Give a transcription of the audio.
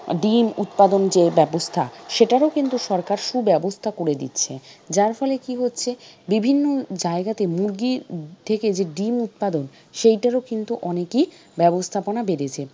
ডিম উৎপাদন যে ব্যবস্থা সেটারও কিন্তু সরকার সুব্যবস্থা করে দিচ্ছে। যার ফলে কি হচ্ছে বিভিন্ন জায়গাতে মুরগি থেকে যে ডিম উৎপাদন সেটার ও কিন্তু অনেক ই ব্যবস্থাপনা বেড়েছে।